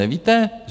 Nevíte?